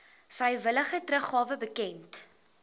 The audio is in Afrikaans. vrywillige teruggawe bekend